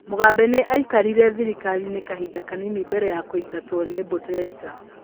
Mugabe nĩ aikarire thirikari-inĩ kahinda kanini mbere ya kũingatwo nĩ mbũtũ ya ita.